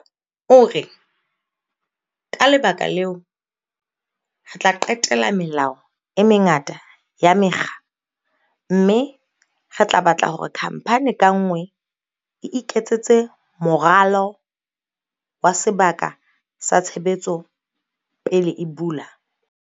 O re, Ka lebaka leo, re tla qetela melao e mengata ya mekga mme re tla batla hore khamphani ka nngwe e iketsetse moralo wa sebaka sa tshebetso pele e bula.